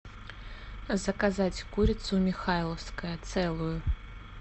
заказать курицу михайловская целую